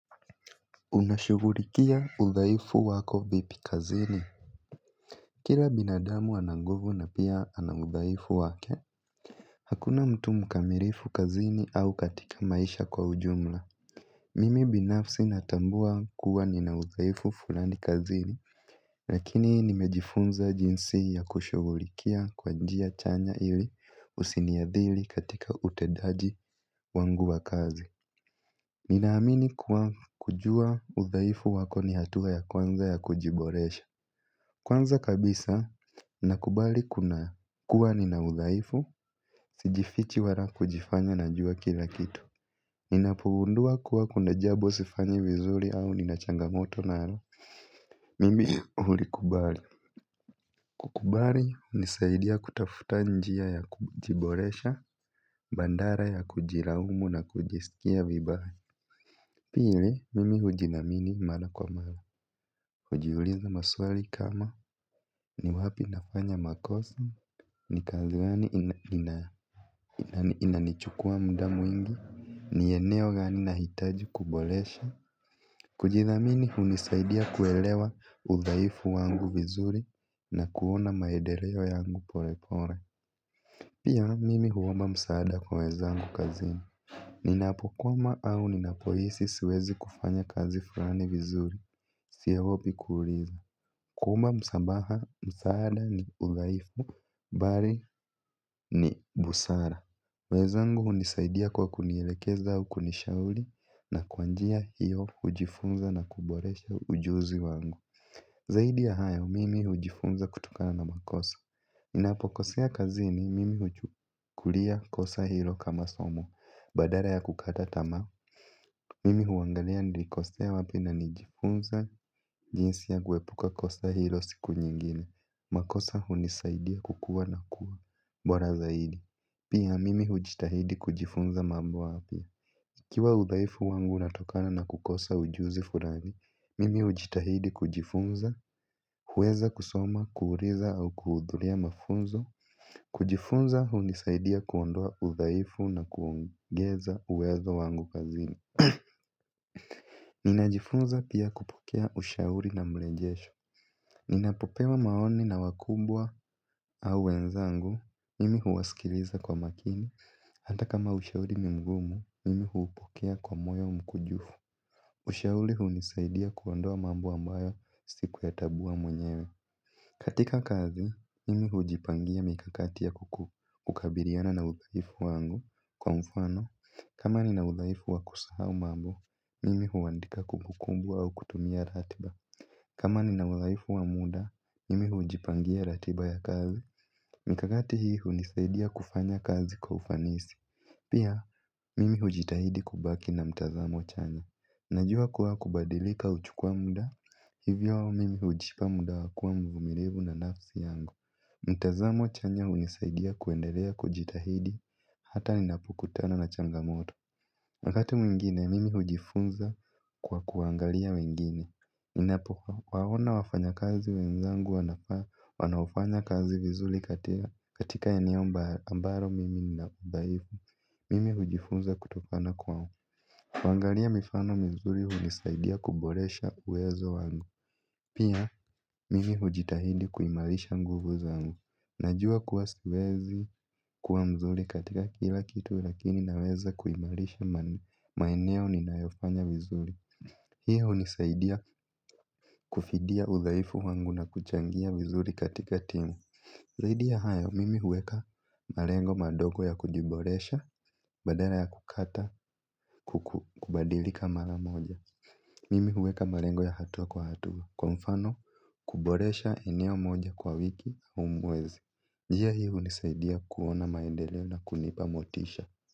Unashuhulikia udhaifu wako vipi kazini? Kila binadamu ananguvu na pia anaudhaifu wake hakuna mtu mkamilifu kazini au katika maisha kwa ujumla mimi binafsi natambua kuwa ninaudhaifu fulani kazini lakini nimejifunza jinsi ya kushuhulikia kwa njia chanya ili usiniadhiri katika utendaji wangu wa kazi ninaamini kuwa kujua udhaifu wako ni hatua ya kwanza ya kujiboresha kwanza kabisa, nakubali kuna kuwa ninaudhaifu, sijifichi wala kujifanya na jua kila kitu ninapo gundua kuwa kuna jambo sifanyi vizuri au nina changamoto nalo mimi hulikubali kukubali hunisaidia kutafuta njia ya kujiboresha, badala ya kujilaumu na kujisikia vibaya pili mimi hujithamini mara kwa mara. Hujiuliza maswali kama ni wapi nafanya makosa ni kazi gani ina inanichukua mda mwingi ni eneo gani nahitaji kuboresha. Kujithamini hunisaidia kuelewa udhaifu wangu vizuri na kuona maendeleo yangu pole pole pia mimi huomba msaada kwa wenzangu kazini. Ninapokwama au ninapohisi siwezi kufanya kazi fulani vizuri. Siogopi kuuliza kuomba msamaha, msaada ni udhaifu bali ni busara wenzangu hunisaidia kwa kunielekeza au kunishauri na kwanjia hiyo hujifunza na kuboresha ujuzi wangu zaidi ya hayo, mimi hujifunza kutokana na makosa ninapo kosea kazini, mimi huchukulia kosa hilo kama somo badala ya kukata tamaa mimi huangalia nilikosea ya wapi na najifunza jinsi ya kuepuka kosa hilo siku nyingine makosa hunisaidia kukua na kuwa bora zaidi pia mimi hujitahidi kujifunza mambo mapya ikiwa udhaifu wangu unatokana na kukosa ujuzi fulani mimi hujitahidi kujifunza huweza kusoma, kuuliza au kuhudhuria mafunzo kujifunza hunisaidia kuondoa udhaifu na kuongeza uwezo wangu kazini. Ninajifunza pia kupokea ushauri na mrejesho. Ninapopewa maoni na wakubwa au wenzangu mimi huwaskiliza kwa makini hata kama ushauri nimgumu mimi hupokea kwa moyo mkunjufu ushauri hunisaidia kuondoa mambo ambayo siku ya tambua mwenyewe katika kazi, mimi hujipangia mikakati ya kuku kabiliana na udhaifu wangu kwa mfano kama ni na udhaifu wakusahau mambo mimi huwandika kumbukumbu au kutumia ratiba kama nina udhaifu wa muda, mimi hujipangia ratiba ya kazi mikakati hii hunisaidia kufanya kazi kwa ufanisi pia, mimi hujitahidi kubaki na mtazamo chanya najua kuwa kubadilika huchukua muda hivyo mimi hujipa muda wakuwa mvumilivu na nafsi yangu mtazamo chanya unisaidia kuendelea kujitahidi hata ninapo kutana na changamoto wakati mwingine, mimi hujifunza kwa kuangalia wengine. Ninapo waona wafanya kazi wenzangu wanaofanya kazi vizuri katea katika eneo ambalo mimi nina udhaifu. Mimi hujifunza kutokana kwa kuangalia mifano mizuri hunisaidia kuboresha uwezo wangu. Pia, mimi hujitahidi kuimarisha nguvu zangu. Najua kuwa siwezi kuwa mzuri katika kila kitu lakini naweza kuimarisha maeneo ni nayofanya vizuri hiyo hunisaidia kufidia udhaifu wangu na kuchangia vizuri katika timu zaidi ya hayo, mimi huweka malengo madogo ya kujiboresha badala ya kukata kubadilika mara moja mimi huweka malengo ya hatua kwa hatua kwa mfano kuboresha eneo moja kwa wiki au mwezi njia hiu hunisaidia kuona maendeleo na kunipamotisha.